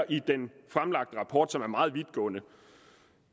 i den fremlagte rapport elementer som er meget vidtgående